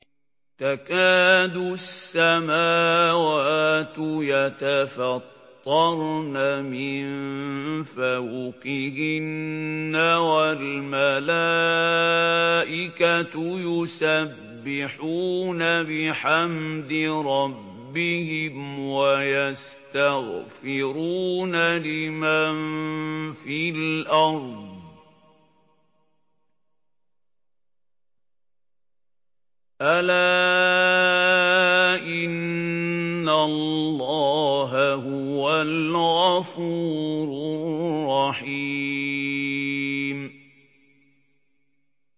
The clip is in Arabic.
تَكَادُ السَّمَاوَاتُ يَتَفَطَّرْنَ مِن فَوْقِهِنَّ ۚ وَالْمَلَائِكَةُ يُسَبِّحُونَ بِحَمْدِ رَبِّهِمْ وَيَسْتَغْفِرُونَ لِمَن فِي الْأَرْضِ ۗ أَلَا إِنَّ اللَّهَ هُوَ الْغَفُورُ الرَّحِيمُ